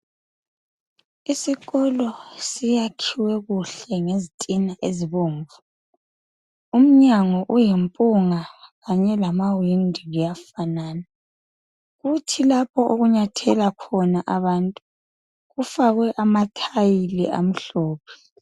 Isikolo siyakhiwe kuhle ngezitina ezibomvu. Umnyango uyimpunga kanye lamawindi kuyafanana, kuthi lapho okunyathela khona abantu, kufakwe amathayili amhlophe.